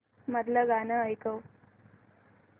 मधलं गाणं ऐकव